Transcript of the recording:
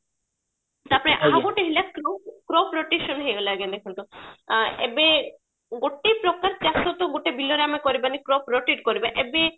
ତାପରେ ଆଉ ଗୋଟେ ରହିଲା co-production ହେଇଗଲା ଆଜ୍ଞା ଦେଖନ୍ତୁ ଆଁ ଏବେ ଗୋଟେ ପ୍ରକାର ଚାଷ ତ ଗୋଟେ ବିଲରେ ଆମେ କରିବନି corotate କରିବା ଏବେ